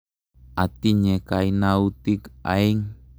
Atinye kainautik aeng'.